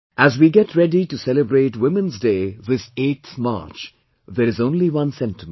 As we get ready to celebrate 'Women's Day' this 8th March, there is only one sentiment